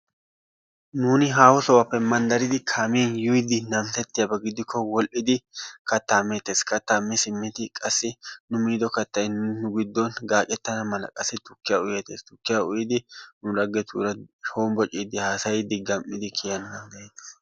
Nuuni haahosappe manddaridi kaamiyaan yiidi namissettiyaaba giidiko wodhidi kattaa meettees. Kattaa mi simmidi qassi nu miido kattay nu giiddon gaaccetana mala qassi tukkiyaa uyettees. Tukkiyaa uyyidi nu laggetuura honbboccidi haasayiidi gam"idi kiiyyana danddayettees.